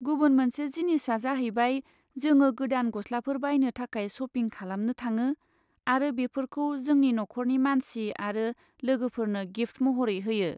गुबुन मोनसे जिनिसआ जाहैबाय जोङो गोदान गस्लाफोर बायनो थाखाय शपिं खालामनो थाङो आरो बेफोरखौ जोंनि नखरनि मानसि आरो लोगोफोरनो गिफ्ट महरै होयो।